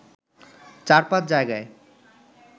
চার পাঁচ জায়গায়